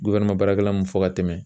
baarakɛla mun fɔ ka tɛmɛ